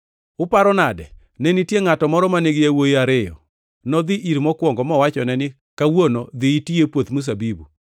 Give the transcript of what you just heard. “Uparo nade? Ne nitie ngʼato moro mane nigi yawuowi ariyo. Nodhi ir mokwongo mowachone ni, ‘Kawuono dhi iti e puoth mzabibu.’